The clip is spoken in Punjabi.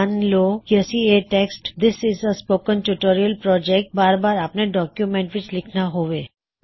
ਮਨ ਲੋ ਕੀ ਅਸੀ ਇਹ text this is a spoken tutorial project ਬਾਰ ਬਾਰ ਆਪਣੇ ਡੌਕਯੂਮੈਂਟ ਵਿੱਚ ਲਿੱਖਣਾ ਹੋਵੇ